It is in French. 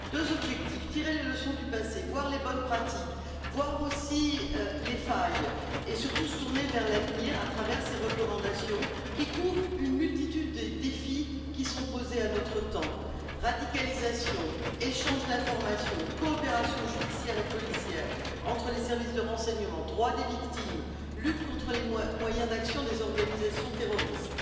Deux objectifs tirer les leçons du passé, voir les bonnes pratiques, voir aussi les failles, et surtout se tourner vers l'avenir, à travers ces recommandations qui couvrent une multitude des défis qui sont posés à notre temps radicalisation, échange d'informations, coopération judiciaire et policière entre les services de renseignement, droits des victimes, lutte contre les moyens d'action des organisations terroristes.